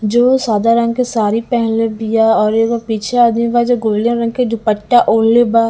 जो सादा रंग के साड़ी पेनहले बिया और एगो पीछे आदमी ब जे गोल्डेन रंग के दुपट्टा ओढले बा--